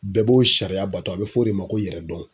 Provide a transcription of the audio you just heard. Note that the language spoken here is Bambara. Bɛɛ b'o sariya bato a be f'o de ma ko yɛrɛ dɔn.